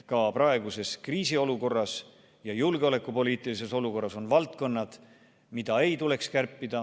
Ka praeguses kriisiolukorras ja julgeolekupoliitilises olukorras on valdkonnad, mida ei tohiks kärpida.